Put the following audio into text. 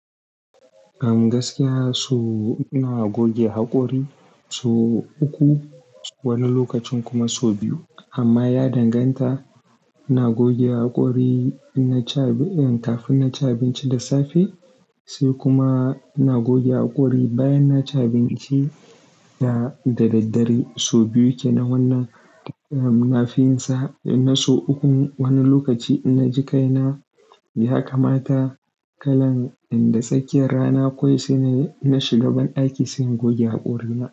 A gaskiya, so ina goge haƙori so uku wani lokacin kuma so biyu. Amma ya danganta. Ina goge haƙori in na ci abin-- kafin na ci abinci da safe sai kuma na goge ina goge haƙori bayan na ci abinci. Da daddare sau biyu ke nan wannan, eh, na fi yinsa. In na so uku wani lokaci na ji kaina ya kamata kaina inda tsakiyar rana kawai sai na shiga ban ɗaki sai in goge haƙorina.